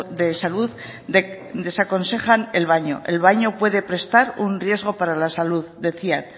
de salud desaconseja el baño el baño puede prestar un riesgo para la salud decían